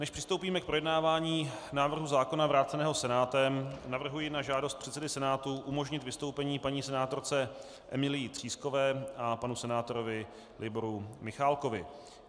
Než přistoupíme k projednávání návrhu zákona vráceného Senátem, navrhuji na žádost předsedy Senátu umožnit vystoupení paní senátorce Emilii Třískové a panu senátorovi Liboru Michálkovi.